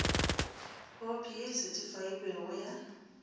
khopi ye e sethifailwego ya